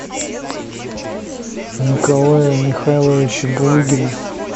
николая михайловича булыгина